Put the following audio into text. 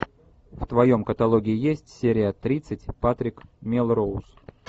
в твоем каталоге есть серия тридцать патрик мелроуз